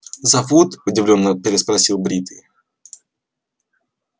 зовут удивлённо переспросил бритый